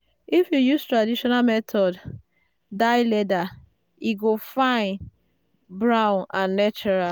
if you use traditional method dye leather e go fine brown and natural.